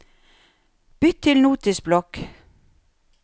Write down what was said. Bytt til Notisblokk